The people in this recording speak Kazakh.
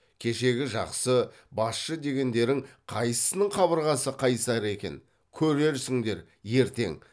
кешегі жақсы басшы дегендерің қайсысының қабырғасы қайысар екен көрерсіңдер ертең